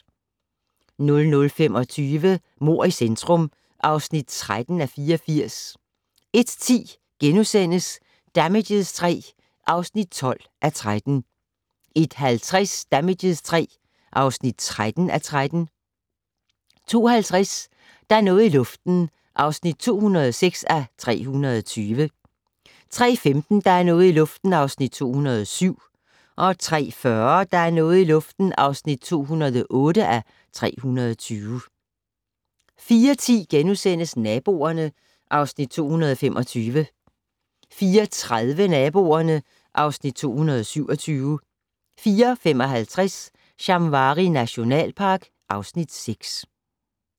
00:25: Mord i centrum (13:84) 01:10: Damages III (12:13)* 01:50: Damages III (13:13) 02:50: Der er noget i luften (206:320) 03:15: Der er noget i luften (207:320) 03:40: Der er noget i luften (208:320) 04:10: Naboerne (Afs. 225)* 04:30: Naboerne (Afs. 227) 04:55: Shamwari nationalpark (Afs. 6)